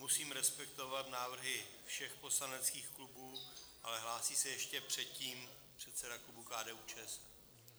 Musím respektovat návrhy všech poslaneckých klubů, ale hlásí se ještě předtím předseda klubu KDU-ČSL.